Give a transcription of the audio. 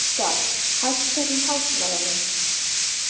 Ágústa, hækkaðu í hátalaranum.